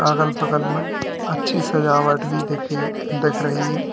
अगल बगल में अच्छी सजावट भी देखी दिख रही है।